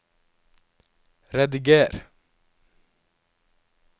rediger